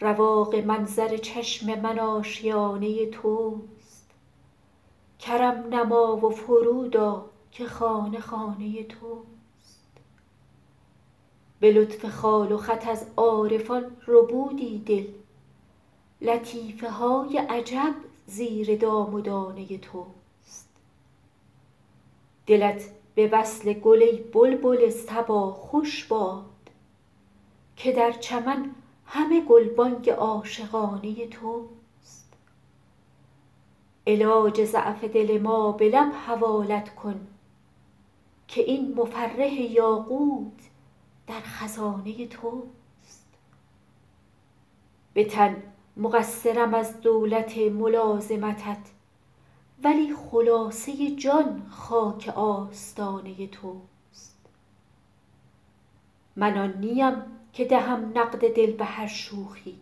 رواق منظر چشم من آشیانه توست کرم نما و فرود آ که خانه خانه توست به لطف خال و خط از عارفان ربودی دل لطیفه های عجب زیر دام و دانه توست دلت به وصل گل ای بلبل صبا خوش باد که در چمن همه گلبانگ عاشقانه توست علاج ضعف دل ما به لب حوالت کن که این مفرح یاقوت در خزانه توست به تن مقصرم از دولت ملازمتت ولی خلاصه جان خاک آستانه توست من آن نیم که دهم نقد دل به هر شوخی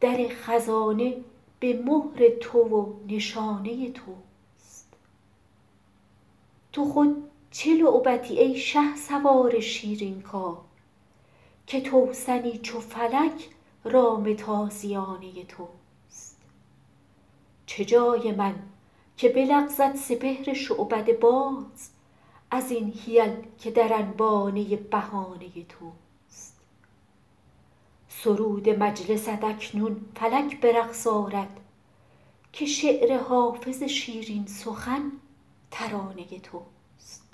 در خزانه به مهر تو و نشانه توست تو خود چه لعبتی ای شهسوار شیرین کار که توسنی چو فلک رام تازیانه توست چه جای من که بلغزد سپهر شعبده باز از این حیل که در انبانه بهانه توست سرود مجلست اکنون فلک به رقص آرد که شعر حافظ شیرین سخن ترانه توست